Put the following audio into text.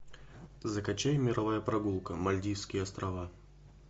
закачай мировая прогулка мальдивские острова